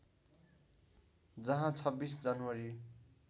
जहाँ २६ जनवरी